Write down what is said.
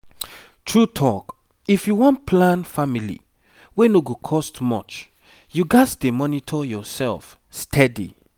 true talk if you wan plan family wey no go cost much you gats dey monitor yourself steady